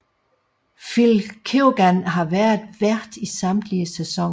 Phil Keoghan har været vært i samtlige sæsoner